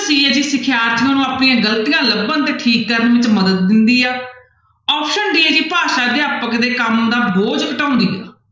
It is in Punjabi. c ਹੈ ਜੀ ਸਿਖਿਆਰਥੀਆਂ ਨੂੰ ਆਪਣੀਆਂ ਗ਼ਲਤੀਆਂ ਲੱਭਣ ਤੇ ਠੀਕ ਕਰਨ 'ਚ ਮਦਦ ਦਿੰਦੀ ਆ option d ਹੈ ਜੀ ਭਾਸ਼ਾ ਅਧਿਆਪਕ ਦੇ ਕੰਮ ਦਾ ਬੋਝ ਘਟਾਉਂਦੀ ਆ।